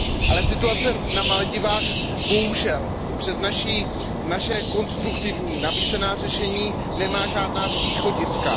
Ale situace na Maledivách bohužel přes naše konstruktivní nabízená řešení nemá žádná východiska.